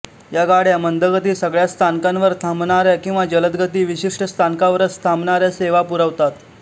या गाड्या मंदगती सगळ्या स्थानकांवर थांबणाऱ्या किंवा जलदगती विशिष्ट स्थानकांवरच थांबणाऱ्या सेवा पुरवतात